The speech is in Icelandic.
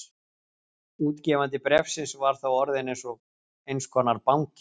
Útgefandi bréfsins var þá orðinn eins konar banki.